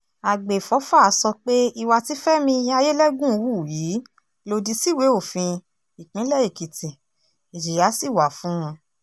àgbẹ̀fọ́fà sọ pé ìwà tí fẹmi ayẹ́lẹ́gùn hù yìí lòdì síwèé òfin ìpínlẹ̀ èkìtì ìjìyà sì wà fún un